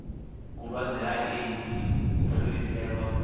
vhulwadze ha eidzi vhu fhireselwa